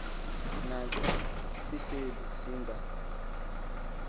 naxa sihleli singa